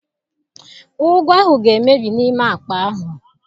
Ụgụ ahụ ga-emebi n'ime akpa ahụ.